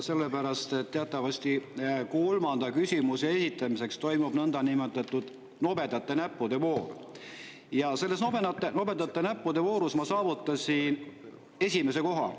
Sellepärast, et teatavasti kolmanda küsimuse esitamiseks toimub nõndanimetatud nobedate näppude voor ja selles nobedate näppude voorus ma saavutasin esimese koha.